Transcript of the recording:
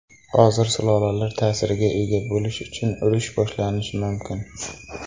Hozir sulolalar ta’sirga ega bo‘lish uchun urush boshlanishi mumkin.